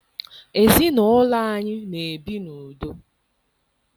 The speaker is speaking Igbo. Ezinaụlọ anyị na-ebi n'udo.